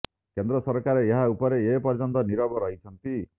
କେନ୍ଦ୍ର ସରକାର ଏହା ଉପରେ ଏ ପର୍ଯ୍ୟନ୍ତ ନିରବ ରହିଛନ୍ତି